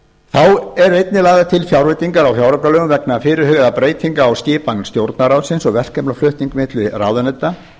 var þá eru einnig lagðar til fjárveitingar á fjáraukalögum vegna fyrirhugaðra breytinga á skipan stjórnarráðsins og verkefnaflutning milli ráðuneyta